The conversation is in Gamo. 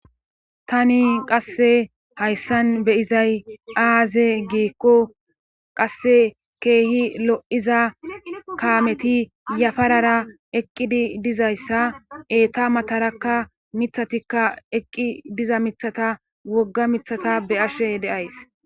Tani qasse hayssan beyizay aaze geekko qasse keehi lo7iza kaameti yafarara eqqidi dizayssa eeta matarakka mithatikka eqqi diza mithata wogga mithata be ashe deays.